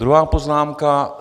Druhá poznámka.